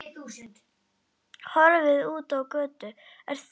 Horfði út á götuna.